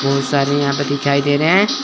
बहुत सारे यहां पे दिखाई दे रहे हैं।